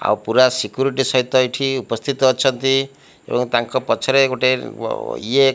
ଆଉ ପୂରା ସିକ୍ୟୁରିଟି ସହିତ ଏଠି ଉପସ୍ଥିତ ଅଛନ୍ତି ଏବଂ ତାଙ୍କ ପଛରେ ଗୁଟେ ଅ ଇଏ --